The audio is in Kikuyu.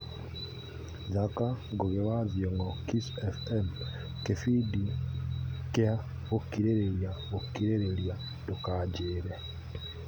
thaaka Ngũgĩ wa thiong'o kiss f.m kĩbindi kĩa gũkirĩrĩria gũkirĩrĩria ndũkanjĩre